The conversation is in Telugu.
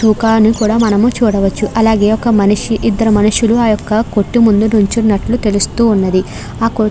ముఖాన్ని కూడా మనము చూడవచ్చు. అలాగే ఒక మనిషి ఇద్దరు మనుషులు ఆ యొక్క కొట్టు ముందు నిలుచున్నట్లు తెలుస్తూ ఉన్నది. ఆ --